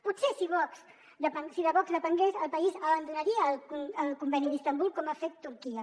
potser si de vox depengués el país abandonaria el conveni d’istanbul com ha fet turquia